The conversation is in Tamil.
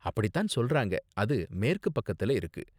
அப்படித்தான் சொல்றாங்க, அது மேற்கு பக்கத்துல இருக்கு.